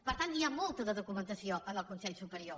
per tant n’hi ha molta de documentació en el consell superior